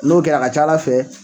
N'o kɛra a ka ca ala fɛ